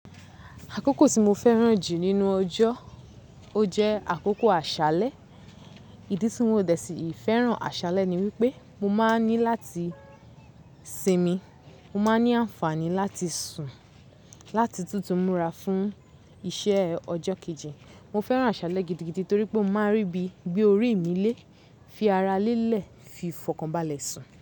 Àkókò tí mo fẹ́ràn jù nínú ọjọ́, ó jẹ́ àkókò àṣálẹ́. Ìdí tí mo dẹ̀ síì fẹ́ràn àṣálẹ́ ni wípé mo máa n ní láti sinmi, mo máa ní àǹfààní láti sùn láti tún ti múra fún iṣẹ́ ọjọ́ kejì. Mo fẹ́ràn àṣálẹ́ gidigidi torí pé mó máa ń rí bí, gbe orí mi lé, fi ara lelẹ̀ fi fọkànbalẹ̀ sùn.